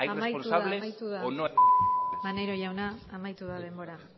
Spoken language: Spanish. hay responsables o no amaitu da denbora